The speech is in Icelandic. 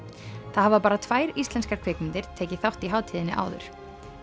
það hafa bara tvær íslenskar kvikmyndir tekið þátt í hátíðinni áður